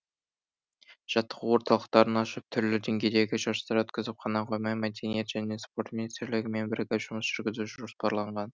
жаттығу орталықтарын ашып түрлі деңгейдегі жарыстар өткізіп қана қоймай мәдениет және спорт министрлігімен бірігіп жұмыс жүргізу жоспарланған